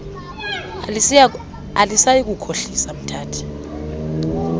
alisayi kukhohlisa umthathi